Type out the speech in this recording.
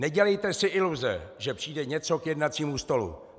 Nedělejte si iluze, že přijde něco k jednacímu stolu.